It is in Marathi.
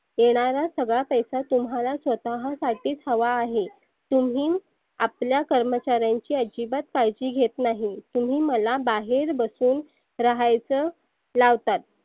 येणारा सगळा पैसा तुम्हाला स्वतःलाच हवा आहे. तुम्ही आपल्या कर्मचाऱ्याची आजीबात काळजी घेत नाही. तुम्ही मला बाहेर बसवून रहायच लावतात.